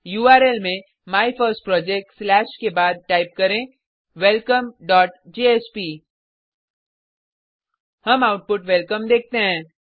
URL में my first project slash के बाद टाइप करें welcomeजेएसपी हम आउटपुट वेलकम देखते हैं